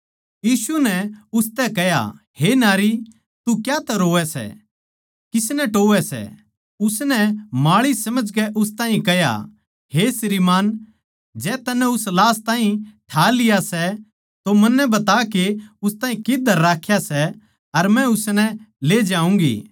यीशु नै उसतै कह्या हे नारी तू क्यातै रोवै सै किसनै टोहवै सै उसनै माळी समझकै उस ताहीं कह्या हे श्री मान जै तन्नै उस लाश ताहीं ठा लिया सै तो मन्नै बता के उस ताहीं कित्त धर राख्या सै अर मै उसनै ले जाऊँगी